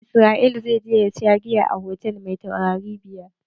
Israel zai je ya sha giya a hotal mai taurari biyar.